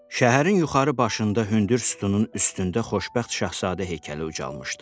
Şəhərin yuxarı başında hündür sütunun üstündə Xoşbəxt Şahzadə heykəli ucalmışdı.